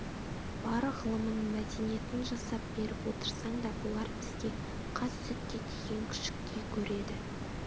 бар ғылымын мәдениетін жасап беріп отырсаң да бұлар бізге қас сүтке тиген күшіктей көреді